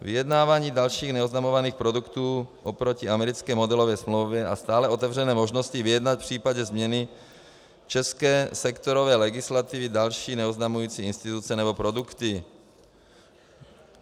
Vyjednávání dalších neoznamovaných produktů oproti americké modelové smlouvě a stále otevřené možnosti vyjednat v případě změny české sektorové legislativy další neoznamující instituce nebo produkty.